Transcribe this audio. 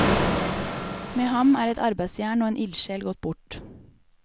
Med ham er et arbeidsjern og en ildsjel gått bort.